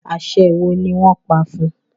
aṣe wọ ní wón pá fun?